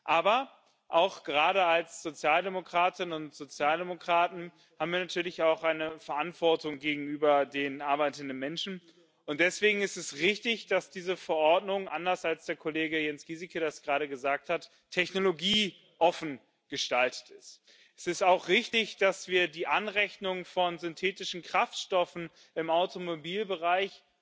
Aber auch gerade als Sozialdemokratinnen und Sozialdemokraten haben wir natürlich auch eine Verantwortung gegenüber den arbeitenden Menschen, und deswegen ist es richtig, dass diese Verordnung anders, als der Kollege Jens Gieseke das gerade gesagt hat technologieoffen gestaltet ist. Es ist auch richtig, dass wir die Anrechnung von synthetischen Kraftstoffen im Automobilbereich